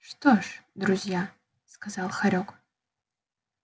что ж друзья сказал хорёк